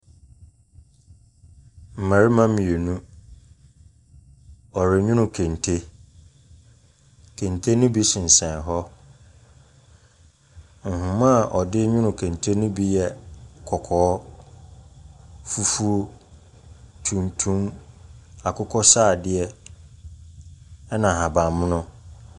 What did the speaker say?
Mmarima mmienu. Wɔrenwono kente. Kente no bi sensɛn hɔ. Nhoma a ɔde nwono kente no bi yɛ kɔkɔɔ, fufuo, tuntum, akokɔ sradeɛ ɛnna ahaban mono.